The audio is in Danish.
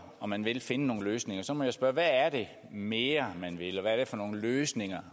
og man vil finde nogle løsninger så må jeg spørge hvad er det mere man vil og hvad er det for nogle løsninger